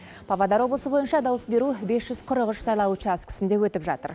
павлодар облысы бойынша дауыс беру бес жүз қырық үш сайлау учаскісінде өтіп жатыр